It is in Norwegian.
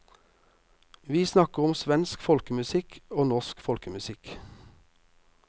Vi snakker om svensk folkemusikk og norsk folkemusikk.